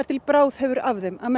til bráð hefur að þeim að